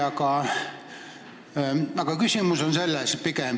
Aga praegu on küsimus pigem selles.